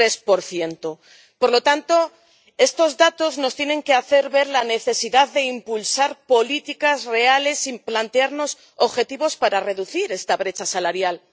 23 Por lo tanto, estos datos nos tienen que hacer ver la necesidad de impulsar políticas reales y plantearnos objetivos para reducir esta brecha salarial.